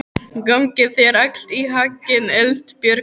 Gangi þér allt í haginn, Eldbjörg.